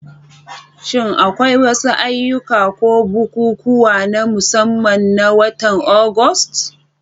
Shin akwai wasu ayyuka ko bukukuwa na musamman na watan Agusta?